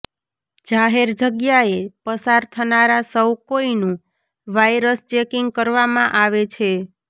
જાહેર જગ્યાએ પસાર થનારા સૌ કોઈનું વાઈરસ ચેકિંગ કરવામાં આવે છે